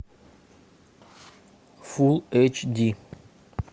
фул эйч ди